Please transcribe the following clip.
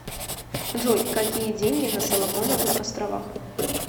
джой какие деньги на соломоновых островах